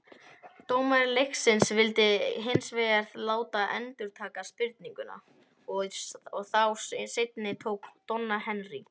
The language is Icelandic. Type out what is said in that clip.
Dómari leiksins vildi hins vegar láta endurtaka spyrnuna, og þá seinni tók Donna Henry.